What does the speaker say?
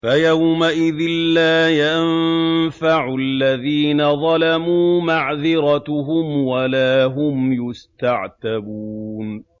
فَيَوْمَئِذٍ لَّا يَنفَعُ الَّذِينَ ظَلَمُوا مَعْذِرَتُهُمْ وَلَا هُمْ يُسْتَعْتَبُونَ